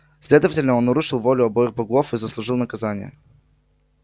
следовательно он нарушил волю обоих богов и заслужил наказание